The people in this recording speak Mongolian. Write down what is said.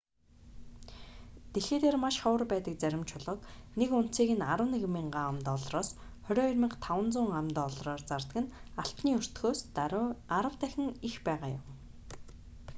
дэлхий дээр маш ховор байдаг зарим чулууг нэг унцыг нь 11,000 ам.доллараас 22,500 ам.доллараар зардаг нь алтны өртгөөс даруй арав дахин их байгаа юм